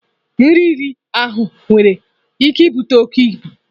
Nri riri ahụ nwere ike ibute oke ibu.